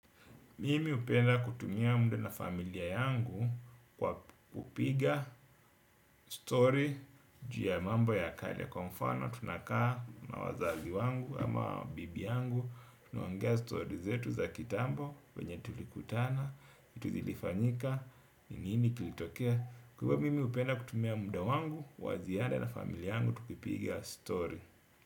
Mimi hupenda kutumia muda na familia yangu kwa kupiga stori juu ya mambo ya kale kwa mfano tunakaa na wazazi wangu ama bibi yangu. Tunuongea stori yetu za kitambo vyenye tulikutana, vitu zilifanyika, ni nini kilitokea. Kwaivo mimi hupenda kutumia muda wangu, wa ziara na familia yangu, tukipiga story.